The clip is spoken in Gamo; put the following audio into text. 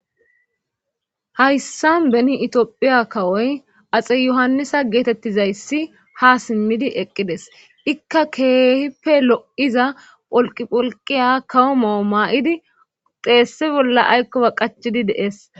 Hayssan beni Itophiya kawoy axe yohannisa geettetizayssi haa simmidi eqqides izikka keehippe lo7iza pholqqi pholqqiyakawo ma7ota ma7idi xeessa bolla aykkoba qachidi de7ees.